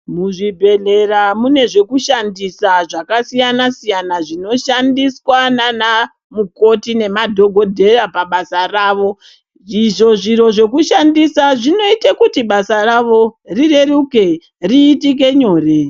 Muzvibhedhlera mune zvekushandisa zvakasiyana-siyana zvinoshandiswa nana mukoti nemadhokodheya pabasa ravo izvo zviro zvekushandisa zvinoita kuti basa ravo rireruke riitike nyore.